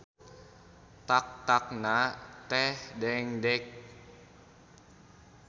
Tak-takna teh dengdek.